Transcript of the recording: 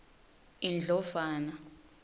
indlovana